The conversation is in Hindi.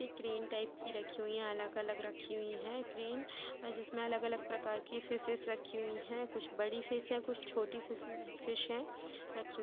ग्रीन टाइप की रखी हुई अलग-अलग रखी हुई है ट्रेन जिसमें अलग-अलग प्रकार की फिशेस रखी हुई है कुछ बड़ी फिश है कुछ छोटी फिश है रखी हुई --